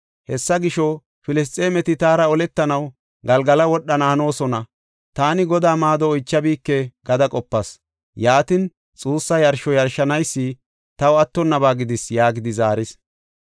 Hessa gisho, ‘Filisxeemeti taara oletanaw Galgala wodhana hanoosona; taani Godaa maado oychabike’ gada qopas. Yaatin, xuussa yarsho yarshanaysi taw attonnaba gidis” yaagidi zaaris.